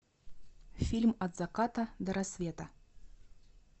фильм от заката до рассвета